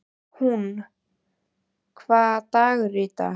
Húnn, hvaða dagur er í dag?